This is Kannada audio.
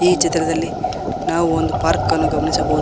ಈ ಚಿತ್ರದಲ್ಲಿ ನಾವು ಒಂದು ಪಾರ್ಕನ್ನು ಗಮನಿಸಬಹುದು.